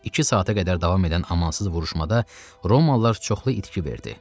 İki saata qədər davam edən amansız vuruşmada Romalılar çoxlu itki verdi.